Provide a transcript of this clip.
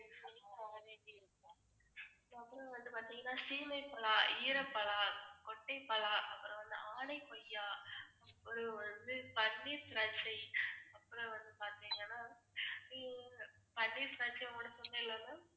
வந்து பாத்தீங்கன்னா சீமைப்பலா, ஈரப்பலா, கொச்சைபலா, அப்புறம் வந்து ஆணை கொய்யா, ஒரு வந்து பன்னீர் திராட்சை, அப்புறம் வந்து பாத்தீங்கன்னா ஹம் பன்னீர் திராட்சை ma'am